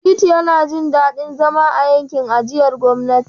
Shittu yana jin daɗin zama a yankin ajiyar gwamnati.